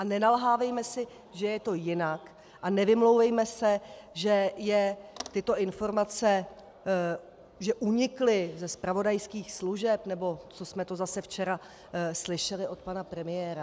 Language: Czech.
A nenalhávejme si, že je to jinak, a nevymlouvejme se, že je tyto informace, že unikly ze zpravodajských služeb, nebo co jsme to zase včera slyšeli od pana premiéra.